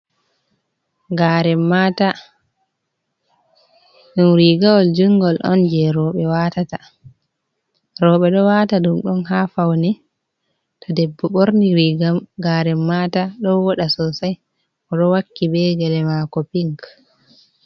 Garen mata. Ɗum rigawol jungol on jei rowɓe watata. rowɓe ɗo wata ɗum on ha faune, to debbo ɓorni riga garen mata, ɗo voɗa sosai. O ɗo wakki be gele mako pink.